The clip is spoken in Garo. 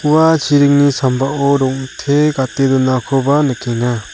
ua chiringni sambao rong·te gate donakoba nikenga.